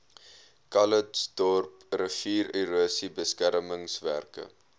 calitzdorp riviererosie beskermingswerke